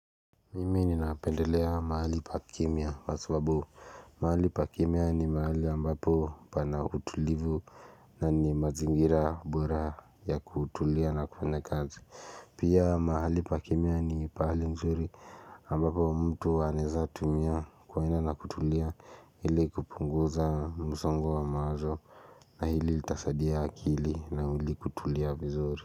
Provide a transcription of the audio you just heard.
Mimi ninapendelea mahali pa kimya kwa sababu mahali pa kimya ni mahali ambapo pana utulivu na ni mazingira bora ya kutulia na kufanya kazi Pia mahali pa kimya ni pahali mzuri ambapo mtu anaeza tumia kuenda na na kutulia ili kupunguza mzongo wa mawazo na hili itasadia akili na ili kutulia vizuri.